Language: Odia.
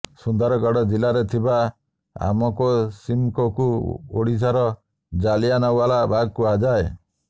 ସୁନ୍ଦରଗଡ ଜିଲ୍ଲାରେ ଥିବା ଆମକୋସିମକୋକୁ ଓଡିଶାର ଜାଲିଆନାଓ୍ୱାଲା ବାଗ କୁହାଯାଏ